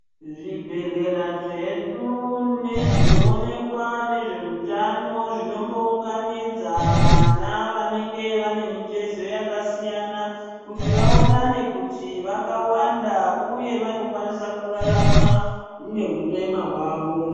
Zvibhedhlera zvedu nezvinoonekwa nezveutano zvinombounganidza vana vanenge vane mitezo yakasiyana kuti vaonane kuti vakawanda uye vanokwanisa kurarama nehurema hwavo.